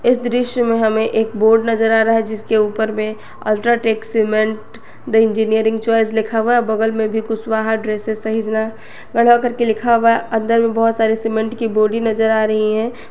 दृश्य में हमें एक बोर्ड नजर आ रहा है जिसके ऊपर में UltraTech cement the engineering choice लिखा हुआ बगल में भी कुशवाहा ड्रेसेज सहीजना गढ़वा करके लिखा हुआ अंदर में बहुत सारे सीमेंट की बोरी नजर आ रही है।